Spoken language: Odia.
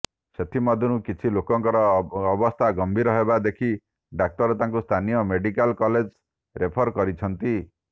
ସେଥିମଧ୍ୟରୁ କିଛି ଲୋକଙ୍କର ଅବସ୍ଥା ଗମ୍ଭୀର ହେବା ଦେଖି ଡାକ୍ତର ତାଙ୍କୁ ସ୍ଥାନୀୟ ମେଡିକାଲ କଲେଜକୁ ରେଫର କରିଛନ୍ତି